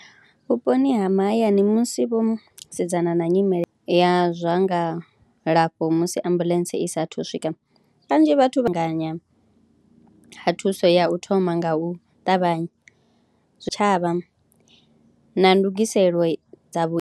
Vhuponi ha mahayani musi vho sedzana na nyimele ya zwa ngalafho musi ambuḽentse i saathu swika kanzhi vhathu vha anganya ha thuso ya u thoma nga u ṱavhanya zwitshavha na ndugiselo dza vho.